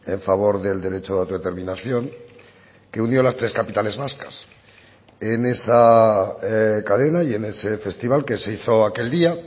en favor del derecho de autodeterminación que unió las tres capitales vascas en esa cadena y en ese festival que se hizo aquel día